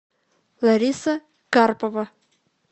лариса карпова